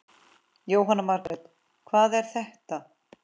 Jóhanna Margrét: Hvað er þetta?